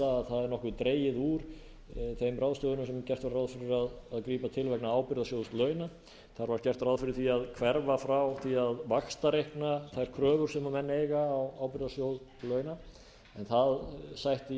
það er nokkuð dregið úr þeim ráðstöfunum sem gert var ráð fyrir að grípa til vegna ábyrgðasjóðs launa þar var gert ráð fyrir því að hverfa frá því að vaxtareikna þær kröfur sem menn eiga á ábyrgðasjóð launa það sætti í